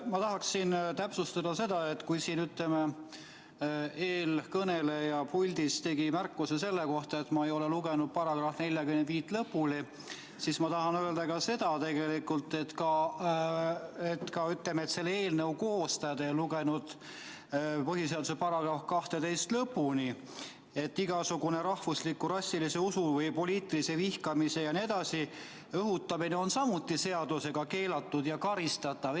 Ma tahaksin täpsustada seda, et kui eelkõneleja siin puldis tegi märkuse selle kohta, et ma ei ole lugenud § 45 lõpuni, siis selle eelnõu koostajad ei ole lugenud põhiseaduse § 12 lõpuni: igasugune rahvusliku, rassilise, usulise või poliitilise vihkamise jne õhutamine on samuti seadusega keelatud ja karistatav.